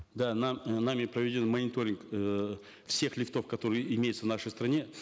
да нами проведен мониторинг эээ всех лифтов которые имеются в нашей стране